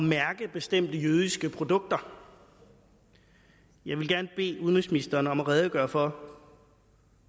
mærke bestemte jødiske produkter jeg vil gerne bede udenrigsministeren om at redegøre for